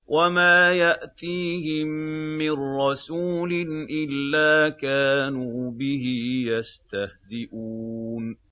وَمَا يَأْتِيهِم مِّن رَّسُولٍ إِلَّا كَانُوا بِهِ يَسْتَهْزِئُونَ